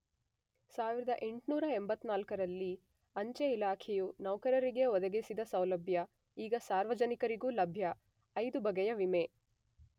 1884ರಲ್ಲಿ ಅಂಚೆ ಇಲಾಖೆಯ ನೌಕರರಿಗೆ ಒದಗಿಸಿದ ಸೌಲಭ್ಯ ಈಗ ಸಾರ್ವಜನಿಕರಿಗೂ ಲಭ್ಯ 5 ಬಗೆಯ ವಿಮೆ.